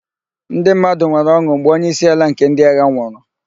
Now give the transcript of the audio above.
NdỊ mmadụ nwere ọn̄ụ mgbe onyeisiala nke ndỊ agha nwụrụ.